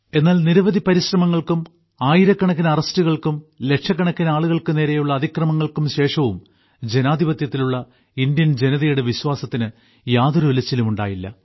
എന്നാൽ നിരവധി പരിശ്രമങ്ങൾക്കും ആയിരക്കണക്കിന് അറസ്റ്റുകൾക്കും ലക്ഷക്കണക്കിന് ആളുകൾക്ക് നേരെയുള്ള അതിക്രമങ്ങൾക്കും ശേഷവും ജനാധിപത്യത്തിലുള്ള ഇന്ത്യൻ ജനതയുടെ വിശ്വാസത്തിന് യാതൊരു ഉലച്ചിലും ഉണ്ടായിട്ടില്ല